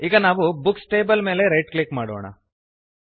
ಈಗ ನಾವು books table ಮೇಲೆ ರೈಟ್ ಕ್ಲಿಕ್ ಮಾಡೋಣ